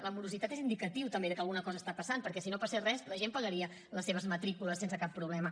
la morositat és un indicatiu també que alguna cosa està passant perquè si no passés res la gent pagaria les seves matrícules sense cap problema